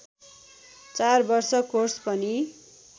चार वर्ष कोर्स पनि